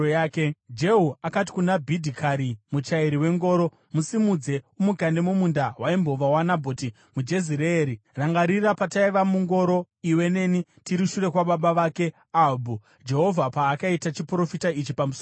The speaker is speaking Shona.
Jehu akati kuna Bhidhikari, muchairi wengoro, “Musimudze umukande mumunda waimbova waNabhoti muJezireeri. Rangarira pataiva mungoro iwe neni tiri shure kwababa vake Ahabhu, Jehovha paakaita chiprofita ichi pamusoro pake: